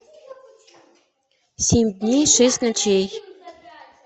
семь дней шесть ночей